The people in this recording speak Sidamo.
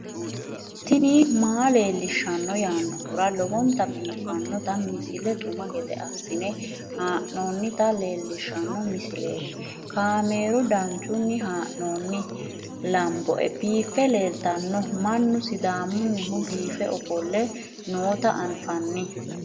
tini maa leelishshanno yaannohura lowonta biiffanota misile xuma gede assine haa'noonnita leellishshanno misileeti kaameru danchunni haa'noonni lamboe biiffe leeeltanno mannu sidaamunnihu biife ofolle noota anfanni